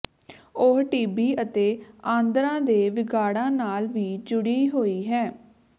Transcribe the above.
ਉਹ ਟੀਬੀ ਅਤੇ ਆਂਦਰਾਂ ਦੇ ਵਿਗਾੜਾਂ ਨਾਲ ਵੀ ਜੁੜੀ ਹੋਈ ਹੈ